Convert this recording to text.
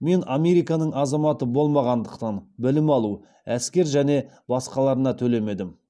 мен американың азаматы болмағандықтан білім алу әскер және басқаларына төлемедім